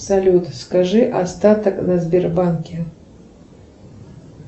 салют скажи остаток на сбербанке